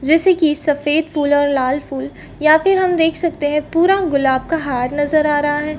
जैसे के सफ़ेद फूल और लाल फूल या फिर हम देख सकते है पूरा गुलाब का हार नज़र आ रहा है।